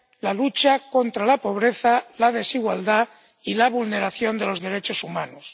la lucha contra la pobreza, la desigualdad y la vulneración de los derechos humanos.